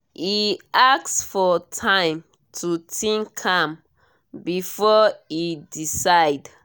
e ask for time to think am before e decide